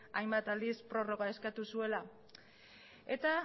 hainbat aldiz prorroga eskatu zuela eta